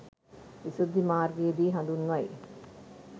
විශුද්ධි මාර්ගයේ දී හඳුන්වයි.